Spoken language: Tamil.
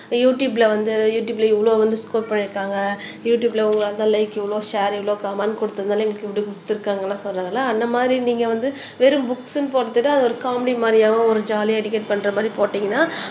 யுடுயூப்ல வந்து யுடுயூப்ல இவ்வளவு வந்து ஸ்கோர் பண்ணிருக்காங்க யுடுயூப்ல உங்களால லைக் இவ்வளோ ஷார் இவ்ளோ கமெண்ட் குடுத்ததுனால இப்படி குடுத்திருக்காங்கன்னு சொல்றதுல அந்த மாரி நீங்க வந்து வெறும் புக்ஸ்ன்னு போடறதை விட அது ஒரு காமடி மாரியாவும் ஒரு ஜாலியா பண்ற மாரி போட்டீங்கன்னா